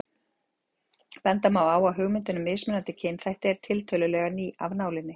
Benda má á að hugmyndin um mismunandi kynþætti er tiltölulega ný af nálinni.